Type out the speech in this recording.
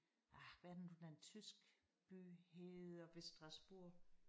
Ah hvad er det nu den tysk by hedder ved Strasburg